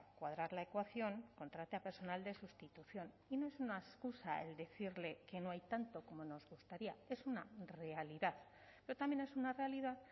cuadrar la ecuación contrate a personal de sustitución y no es una excusa el decirle que no hay tanto como nos gustaría es una realidad pero también es una realidad